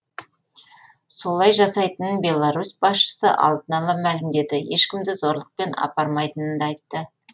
солай жасайтынын беларусь басшысы алдын ала мәлімдеді ешкімді зорлықпен апармайтынын да айтты